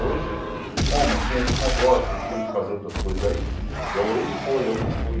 Hoje, como tinha esse negócio e tinha de fazer outras coisas aí, igual ele foi, eu não fui.